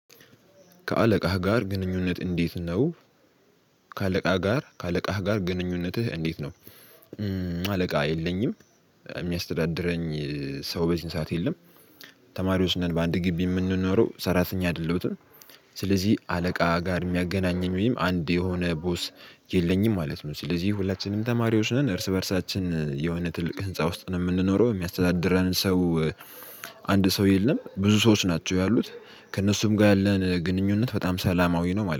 ከአለቃህ ጋር ግንኙነት እንዴት ነው? ከአለቃ ጋር ከአለቃህ ጋር ግንኙነትህ እንዴት ነው? አለቃ የለኝም። የሚያስተዳድረኝ ሰው በዚህን ሰዓት የለም። ተማሪዎች ነን በአንድ ግቢ የምንኖረው። ሰራተኛ አይደለሁትም ስለዚህ አለቃ ጋር የሚያገናኘኝ ወይም አንድ የሆነ ቦስ የለኝም ማለት ነው። ስለዚህ ሁላችንም ተማሪዎች ነን እርስ በእርሳችን የሆነ ትልቅ ህንፃ ውስጥ ነው የምንኖረው። የሚያስተዳድረን ሰው አንድ ሰው የለም። ብዙ ሰዎች ናቸው ያሉት። ከእነሱም ጋር ያለን ግንኙነት በጣም ሰላማዊ ነው ማለ